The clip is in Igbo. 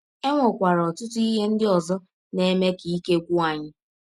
E nwekwara ọtụtụ ihe ndị ọzọ na - eme ka ike gwụ anyị.